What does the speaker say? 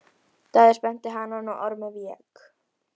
Daði spennti hanann og Ormur vék.